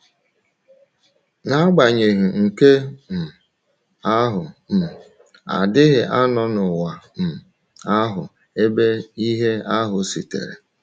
N’agbanyeghị nke um ahụ um, a dịghị anọ n’ụwa um ahụ ebe ìhè ahụ sitere.